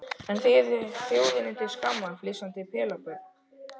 En þið þið eruð þjóðinni til skammar, flissandi pelabörn.